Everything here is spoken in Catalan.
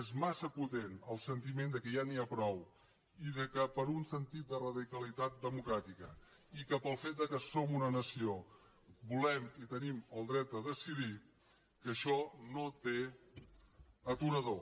és massa potent el sentiment que ja n’hi ha prou i que per un sentit de radicalitat democràtica i pel fet que som una nació volem i tenim el dret a decidir això no té aturador